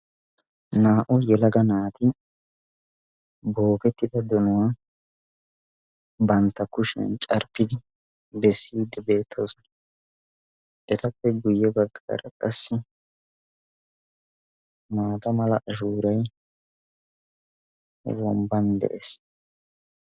Naa"u yelaga naati bookettida donuwa bantta kushiyan carppidi bessiiddi beettoosona. etappe guyye baggaara qassi maata mala ashuuray womban de'es.